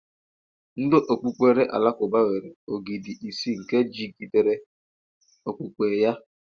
Ndị okpukpere Alakụba nwere ógìdì ise nke jigidere okpukpe ya.